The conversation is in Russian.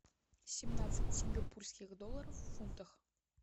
семнадцать сингапурских долларов в фунтах